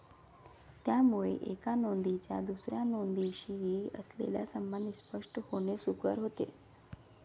त्यामुळे एका नोंदीचा दुसऱ्या नोंदीशी असलेला संबंध स्पष्ट होणे सुकर होते.